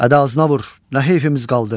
Ədə ağzına vur, nə heyfimiz qaldı?